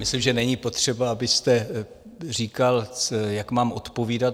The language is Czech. Myslím, že není potřeba, abyste říkal, jak mám odpovídat.